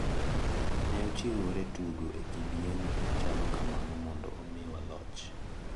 Ne ochiwore tugo e kidieny machalo kamano mondo omiwa loch.